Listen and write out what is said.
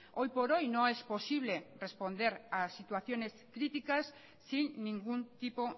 hoy por hoy no es posible responder a situaciones críticas sin ningún tipo